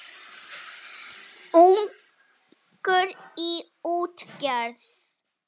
Ungur í útgerð